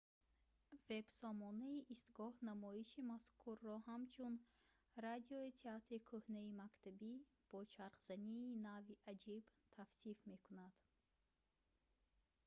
вебсомонаи истгоҳ намоиши мазкурро ҳамчун радиои театри кӯҳнаи мактабӣ бо чархзании нави аҷиб тавсиф мекунад